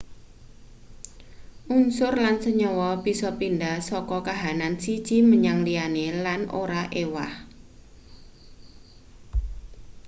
unsur lan senyawa bisa pindah saka kahanan siji menyang liyane lan ora ewah